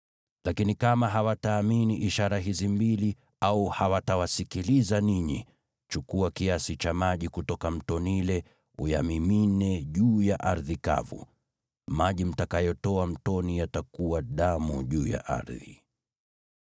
Lakini kama hawataamini ishara hizi mbili au hawatawasikiliza ninyi, chukua kiasi cha maji kutoka Mto Naili uyamimine juu ya ardhi kavu. Maji mtakayotoa mtoni yatakuwa damu juu ya ardhi.”